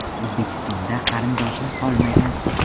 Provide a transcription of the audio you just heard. O‘zbekistonda qarindoshim qolmagan.